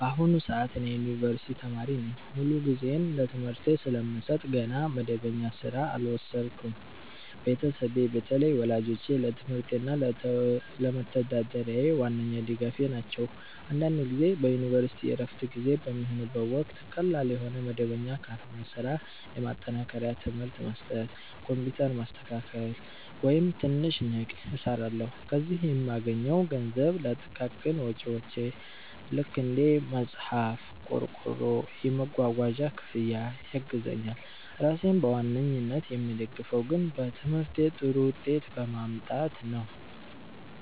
በአሁኑ ሰዓት እኔ የዩኒቨርሲቲ ተማሪ ነኝ። ሙሉ ጊዜዬን ለትምህርቴ ስለምሰጥ ገና መደበኛ ሥራ አልወሰድኩም። ቤተሰቤ፣ በተለይ ወላጆቼ፣ ለትምህርቴ እና ለመተዳደሪያዬ ዋነኛ ድጋፌ ናቸው። አንዳንድ ጊዜ በዩኒቨርሲቲ ዕረፍት ጊዜ በሚሆንበት ወቅት ቀላል የሆነ መደበኛ ባልሆነ ሥራ (እንደ ማጠናከሪያ ትምህርት መስጠት፣ ኮምፒውተር ማስተካከያ፣ ወይም ትንሽ ንግድ) እሰራለሁ። ከዚህ የምገኘው ገንዘብ ለጥቃቅን ወጪዎቼ (እንደ መጽሐፍ፣ ቆርቆሮ፣ የመጓጓዣ ክፍያ) ያግዘኛል። ራሴን በዋናነት የምደግፈው ግን በትምህርቴ ጥሩ ውጤት በማምጣት ነው።